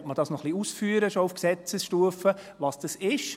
Will man schon auf Gesetzesstufe noch ein wenig ausführen, was das ist?